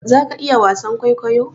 za ka iya wasan kwaikwayo?